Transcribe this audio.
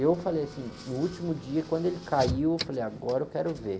Eu falei assim, no último dia, quando ele caiu, eu falei, agora eu quero ver.